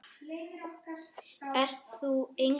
Ert þú Egill?